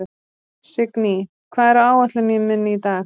Signý, hvað er á áætluninni minni í dag?